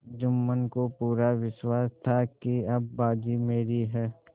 जुम्मन को पूरा विश्वास था कि अब बाजी मेरी है